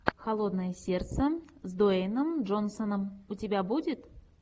холодное сердце с дуэйном джонсоном у тебя будет